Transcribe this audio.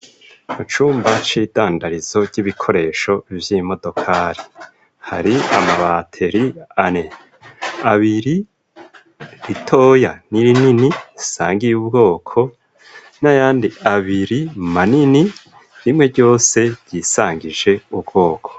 Mu cumba c'idandarizo ry'ibikoresho vy'imodokari hari amabateri ane abiri ritoya n'irinini risangiye ubwoko na yandi abiri manini bimwe ryose ryisangije ubwoko.